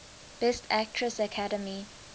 best actress academy